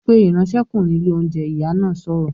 "Pe ìránṣẹ́kùnrin ilé oúnjẹ!", Ìyá náà sọ̀rọ̀